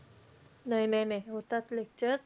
नाही नाही नाही होतात lectures.